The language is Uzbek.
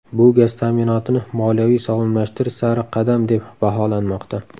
Bu gaz ta’minotini moliyaviy sog‘lomlashtirish sari qadam deb baholanmoqda.